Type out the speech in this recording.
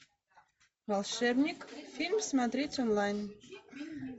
волшебник фильм смотреть онлайн